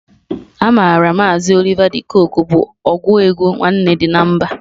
A maara maazi Oliva di Kookwe bụ ọgụ egwu Nwanne dị na mba.